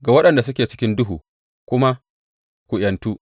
ga waɗanda suke cikin duhu kuma, Ku ’yantu!’